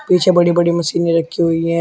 पीछे बड़ी बड़ी मशीने रखी हुई हैं।